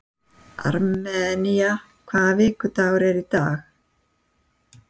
Armenía, hvaða vikudagur er í dag?